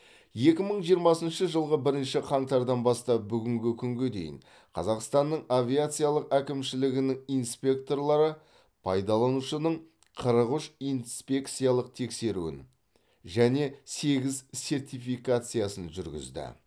екі мың жиырмасыншы жылғы бірінші қаңтардан бастап бүгінгі күнге дейін қазақстанның авиациялық әкімшілігінің инспекторлары пайдаланушының қырық үш инспекциялық тексеруін және сегіз сертификациясын жүргізді